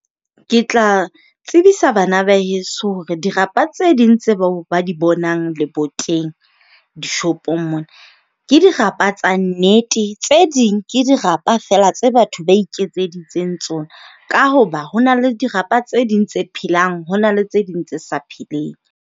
Ke tla tsebisa bana ba heso hore dirapa tse ding tseo ba di bonang leboteng dishopong mona ke dirapa tsa nnete. Tse ding ke dirapa fela tse batho ba iketseditseng tsona, ka hoba ho na le dirapa tse ding tse phelang ho na le tse ding tse sa pheleng.